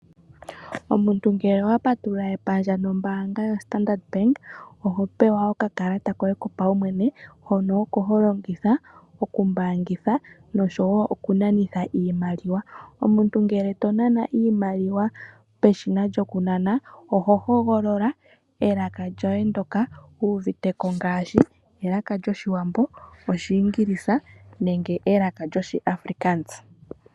Omuntu ngele owa patulula epandja nombaanga yoStandard Bank , oho pewa okakalata koye kopaumwene , hono oko holongitha oku mbaangitha noshowoo oku nanitha iimaliwa. Omuntu ngele tonana iimaliwa peshina lyokunana, oho hogolola elaka lyoye ndyoka wuuviteko ngaashi elaka lyOshiwambo, Oshiingilisa nenge elaka lyoshiAfrikaans.